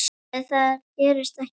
Nei það gerist ekki oft.